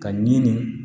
Ka ɲini